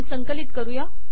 संकलित करूया